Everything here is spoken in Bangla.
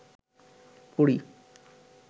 পড়ি